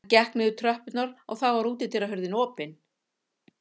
Hann gekk niður tröppurnar og sá þá að útihurðin var opin.